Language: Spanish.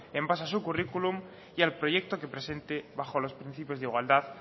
en base a su currículum y al proyecto que presente bajo los principios de igualdad